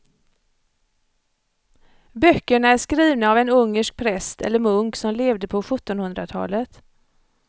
Böckerna är skrivna av en ungersk präst eller munk som levde på sjuttonhundratalet.